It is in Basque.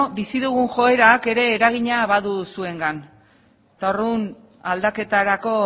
bizi dugun joerak ere badu eragina zuengan eta orduan aldaketarako